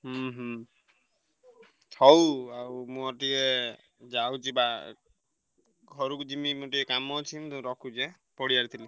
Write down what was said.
ହୁଁ ହୁଁ ହଉ ଆଉ ମୋର ଟିକେ ଯାଉଛି ବା ଘରୁକୁ ଯିମି ମୋର ଟିକେ କାମ ଅଛି ମୁଁ ତ ରଖୁଛି ଏଁ ପଡିଆରେ ଥିଲି।